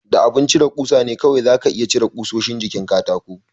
Da abin cire ƙusa ne kawai za ka iya cire ƙusoshin jikin katakon.